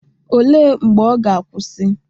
Olee mgbe ọ ga-akwụsị?